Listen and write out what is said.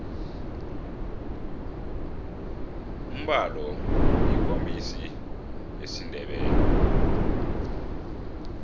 umbalo yikumbesi ngesindebele